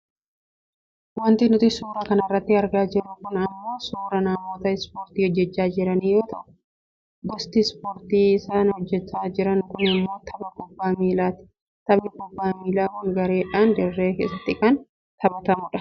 Wanti nuti suuraa kanarratti argaa jirru kun ammoo suuraa namoota ispoortii hojjachaa jiranii yoo ta'u gosti ispoortii isaan hojjachaa jiran kun ammoo tapha kubbaa miilaati. Taphni kubbaa miilaa kun gareedhaan dirree keessatti kan taphatamudha.